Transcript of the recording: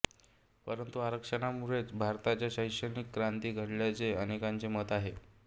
परंतु आरक्षणामुळेच भारताच्या शैक्षणिक क्रांती घडल्याचे अनेकांचे मत आहे